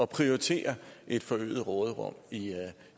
prioritere et forøget råderum i